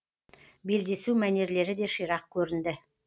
белдесу мәнерлері де ширақ көрінді